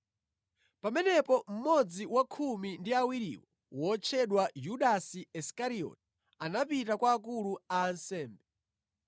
Pamenepo mmodzi wa khumi ndi awiriwo wotchedwa Yudasi Isikarioti anapita kwa akulu a ansembe